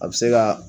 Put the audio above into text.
A bɛ se ka